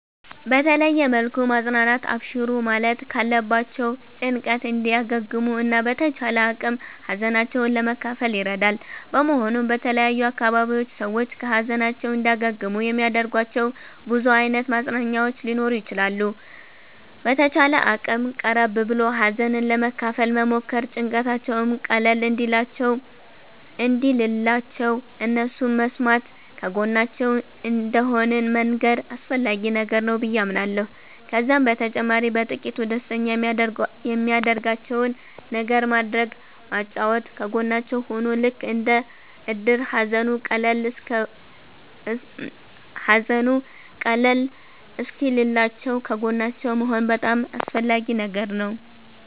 በተለየ መልኩ ማፅናናት አብሽሩ ማለት ካለባቸዉ ጭንቀት እንዲያገግሙ እና በተቻለ አቅም ሀዘናቸዉን ለመካፈል ይረዳል በመሆኑም በተለያዩ አካባቢዎች ሰዎች ከ ሀዘናቸዉ እንዲያገግሙ የሚያደርጋቸዉ ብዙ አይነት ማፅናኛዎች ሊኖሩ ይችላሉ። በተቻለ አቅም ቀረብ ብሎ ሀዘንን ለመካፈል መሞከር ጭንቀታቸዉም ቀለል እንዲልላቸዉ እነሱን መስማተ ከጎናቸዉ እንደሆንን መንገር አስፈላጊ ነገር ነዉ በዬ አምናለሁ። ከዛም በተጨማሪ በጥቂቱ ደስተኛ የሚያደርጋቸዉን ነገር ማድረግ ማጫወት ከጎናቸዉ ሁኖ ልክ እንደ እድር ሃዘኑ ቀለል እሰወኪልላችዉ ከጎናቸዉ መሆን በጣም አስፈላጊ ነገር ነዉ